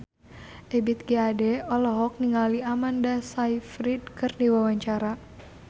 Ebith G. Ade olohok ningali Amanda Sayfried keur diwawancara